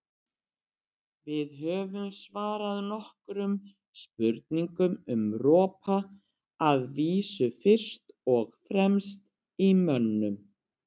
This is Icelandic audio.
Við höfum svarað nokkrum spurningum um ropa, að vísu fyrst og fremst í mönnum.